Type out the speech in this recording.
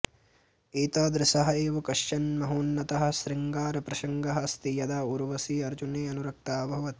एतादृशः एव कश्चन महोन्नतः शृङ्गारप्रसङ्गः अस्ति यदा ऊर्वशी अर्जुने अनुरक्ता अभवत्